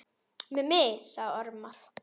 Mummi sagði ormar.